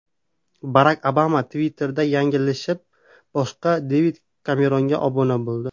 Barak Obama Twitter’da yanglishib, boshqa Devid Kemeronga obuna bo‘ldi.